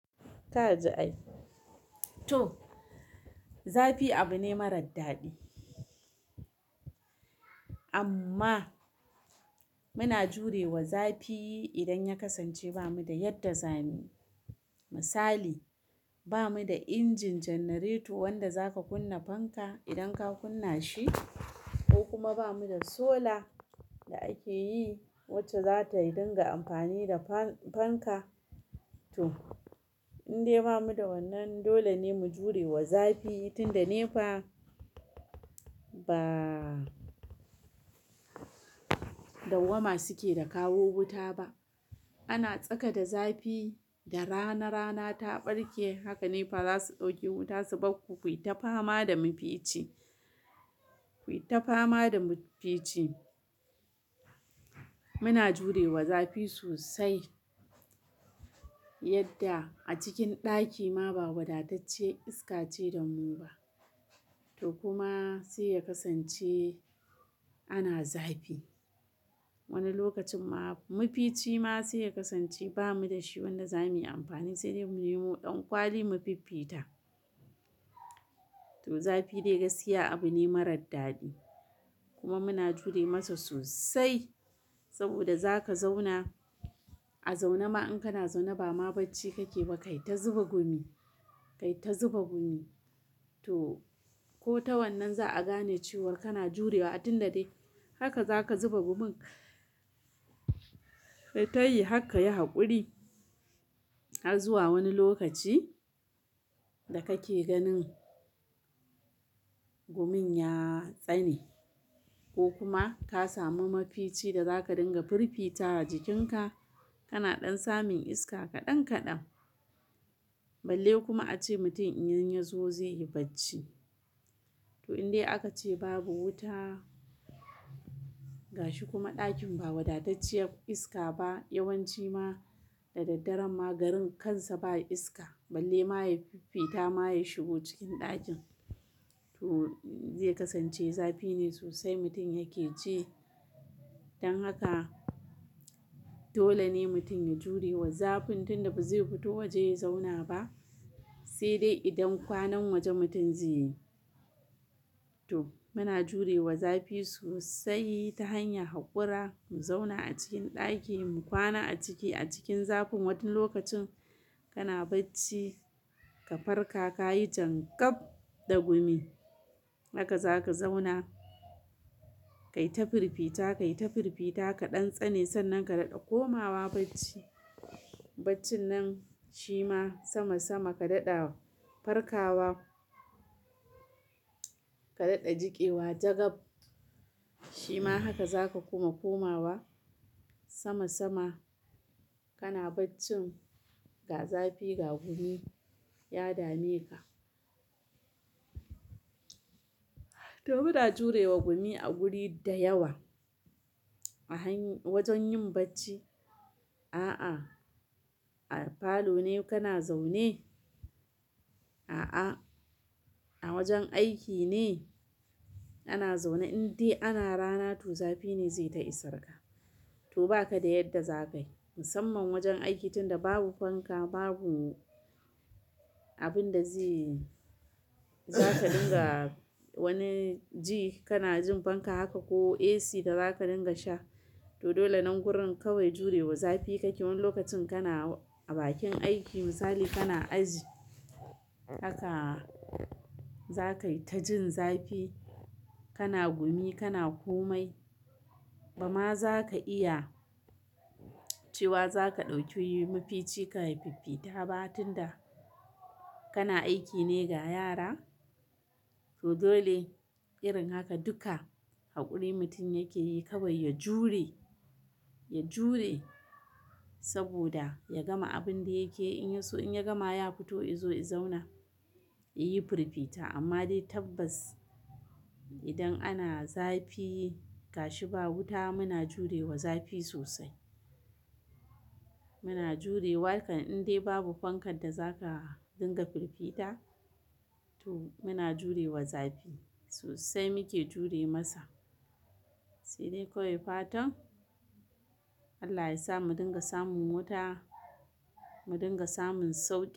To! Zafi abu ne marar daɗi. Amma muna jurewa zafi idan ya kasance ba mu da yadda za muyi. Misali, ba mu da injin janareto wanda za ka kunna fanka idan ka kunna shi ko kuma ba mu da solar da ake yi wacce za tai dinga amfani da fan-fanka. To, in dai ba mu da wannan, dole ne mu jurewa zafi tun da nefa ba. Dawwama suke da kawo wuta ba. Ana tsaka da zafi da rana, rana ta ɓarke. Haka nefa za su ɗauke wuta su barku, ku yi ta fama da mafici, ku yi ta fama da mafici. Muna jurewa zafi sosai yadda a cikin ɗaki ma ba wadatacciyar iska ce da mu ba. To kuma sai ya kasance ana zafi. Wani lokacin ma mafici ma sai ya kasance ba mu da shi wanda za mu yi amfani, sai dai mu nemo ɗan kwali mu fiffita. To zafi dai gaskiya abu ne marar daɗi, kuma muna jure masa sosai saboda za ka zauna. A zaune ma in kana zaune ba ma bacci kake ba, kai ta zuba gumi, kai ta zuba gumi. To, ko ta wannan za a gane cewa kana jurewa. A tun da dai haka za ka zuba gumin. Kai tayi har ka yi haƙuri har zuwa wani lokaci da kake ganin gumin ya tsane ko kuma ka sami mafici da za ka dinga firfita jikinka. Kana ɗan samun iska kaɗan kaɗan. Balle kuma ace mutum idan ya zo zai yi bacci. To in dai aka ce babu wuta, gashi kuma ɗakin ba wadatacciyar iska ba, yawanci ma da daddare ma garin kansa ba iska. Balle ma ya fifita ma ya shigo cikin ɗakin. To zai kasance zafi ne sosai mutum yake ci. Dan haka dole ne mutum ya jurewa zafin tun da ba zai fito waje ya zauna ba, sai dai idan kwanan wajen mutum zai yi. To muna jurewa zafi sosai ta hanyar haƙura. Mu zauna a cikin ɗaki, mu kwana a ciki a cikin zafin. Wani lokacin kana bacci ka farka, ka yi janƙaf da gumi. Haka za ka zauna. Kai ta firfita, kai ta firfita, ka ɗan tsane. Sannan ka daɗa komawa bacci. Baccin nan shi ma sama-sama ka daɗa farkawa. Ka daɗa jiƙewa jagab. Shima haka za ka kuma komawa sama-sama. Kana baccin ga zafi, ga gumi ya dame ka. To muna jurewa gumi a guri da yawa a hany-- wajen yin bacci. A'a, a falo ne kana zaune? A'a, a wajen aiki ne ana zaune. In dai ana rana to zafi ne zai ta isarka. To ba ka da yadda za kai. Musamman wajen aiki tun da babu fanka, babu abin da zai-- za ka dinga wani ji kana jin fanka haka ko AC da za ka dinga sha. To dole nan gurin kawai jurewa zafi kake. Wani lokacin kana a bakin aiki misali kana aji. Haka za ka yi ta jin zafi. Kana gumi kana komai, ba ma zaka iya cewa za ka ɗauki mifici kai fifita ba tunda kana aiki ne ga yara. To dole irin haka duka haƙuri mutum yake yi kawai ya jure, ya jure saboda ya gama abin da yake yi. In ya so in ya gama ya fito ya zo ya zauna, ya yi firfita. Amma dai tabbas idan ana zafi, gashi ba wuta muna jurewa zafi sosai. Muna jurewa kan in dai babu fankar da za ka dinga firfita, to muna jurewa zafi sosai muke jure masa. Sai dai kawai fatan Allah ya sa mu dinga samun wuta, mu dinga samun sauƙi.